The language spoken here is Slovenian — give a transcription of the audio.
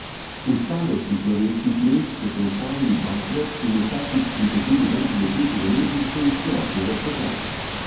V starosti slovenskih mest so se ustavili dvakrat in vsakič pritegnili več deset udeležencev iz celotnega sveta.